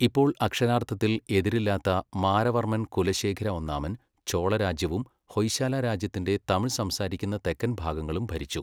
ഇപ്പോൾ അക്ഷരാർത്ഥത്തിൽ എതിരില്ലാത്ത മാരവർമ്മൻ കുലശേഖര ഒന്നാമൻ, ചോള രാജ്യവും ഹൊയ്ശാല രാജ്യത്തിന്റെ തമിഴ് സംസാരിക്കുന്ന തെക്കൻ ഭാഗങ്ങളും ഭരിച്ചു.